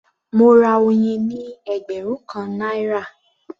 Mo ra oyin ní ẹgbẹ̀rún kan náírà